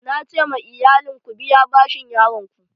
Na ce ma iyalin 'Ku biya bashin yaron ku'!